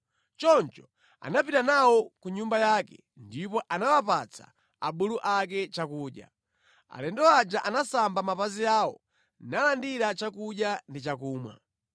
Choncho anapita nawo ku nyumba yake, ndipo anawapatsa abulu ake chakudya. Alendo aja anasamba mapazi awo, nalandira chakudya ndi chakumwa.